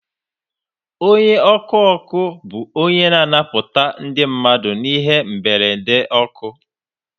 Onye ọkụ ọkụ bụ onye na-anapụta ndị mmadụ n'ihe mberede ọkụ